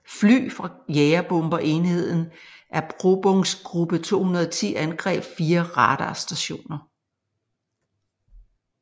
Fly fra jagerbomber enheden Erprobungsgruppe 210 angreb fire radarstationer